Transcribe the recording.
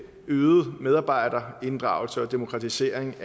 øget medarbejderinddragelse og demokratisering